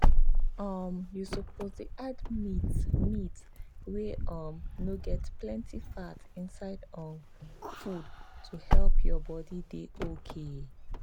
um you suppose dey add meat meat wey um no get plenty fat inside your um food to help your body dey okay.